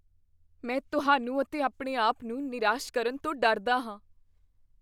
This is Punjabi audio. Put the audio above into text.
ਮੈਂ ਤੁਹਾਨੂੰ ਅਤੇ ਆਪਣੇ ਆਪ ਨੂੰ ਨਿਰਾਸ਼ ਕਰਨ ਤੋਂ ਡਰਦਾ ਹਾਂ।